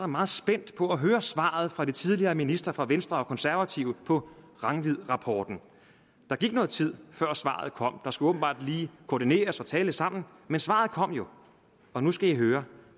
meget spændt på at høre svaret fra de tidligere ministre fra venstre og konservative på rangvidrapporten der gik noget tid før svaret kom der skulle åbenbart lige koordineres og tales sammen men svaret kom jo og nu skal i høre